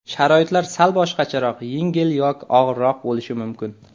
Sharoitlar sal boshqacharoq, yengil yoki og‘irroq bo‘lishi mumkin.